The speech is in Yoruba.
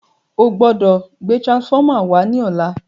o gbódò gbé transformer wá ní ọlá!